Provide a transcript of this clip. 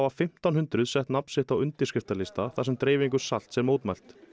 fimmtán hundruð sett nafn sitt á undirskriftarlista þar sem salts er mótmælt